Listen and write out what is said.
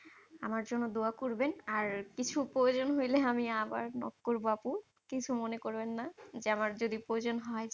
আমার জন্য দুয়া করবেন। আর কিছু প্রয়োজন হইলে আমি আবার knock করবো আপু। কিছু মনে করবেন না। যে আমার যদি প্রয়োজন হয়